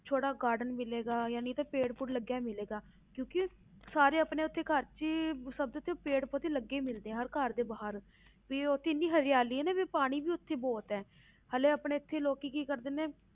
ਛੋਟਾ garden ਮਿਲੇਗਾ ਜਾਣੀ ਉੱਥੇ ਪੇੜ ਪੂੜ ਲੱਗਿਆ ਹੋਇਆ ਮਿਲੇਗਾ ਕਿਉਂਕਿ ਸਾਰੇ ਆਪਣੇ ਉੱਥੇ ਘਰ 'ਚ ਹੀ ਸਭ ਦੇ ਉੱਥੇ ਪੇੜ ਪੌਦੇ ਲੱਗੇ ਹੀ ਮਿਲਦੇ ਆ ਹਰ ਘਰ ਦੇ ਬਾਹਰ ਵੀ ਉੱਥੇ ਇੰਨੀ ਹਰਿਆਲੀ ਹੈ ਨਾ ਵੀ ਪਾਣੀ ਵੀ ਉੱਥੇ ਬਹੁਤ ਹੈ ਹਾਲੇ ਆਪਣੇ ਇੱਥੇ ਲੋਕੀ ਕੀ ਕਰਦੇ ਨੇ,